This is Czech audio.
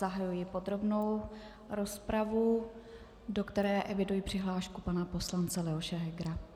Zahajuji podrobnou rozpravu, do které eviduji přihlášku pana poslance Leoše Hegera.